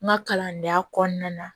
N ka kalandenya kɔnɔna na